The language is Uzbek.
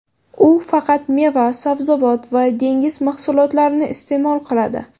U faqat meva, sabzavot va dengiz mahsulotlarini iste’mol qiladi.